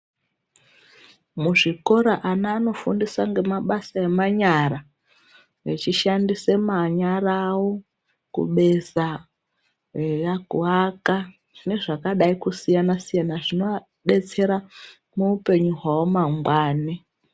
Muzvikora ana anofundiswa ngemabasa emanyara, vechishandise manyara avo, kubesa ,eya kuaka, nezvakadai kusiyana-siyana, zvinoadetsera ,muupenyu hwavo mangwani.